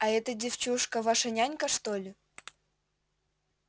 а эта девчушка ваша нянька что ли